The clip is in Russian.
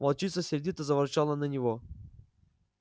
волчица сердито заворчала на него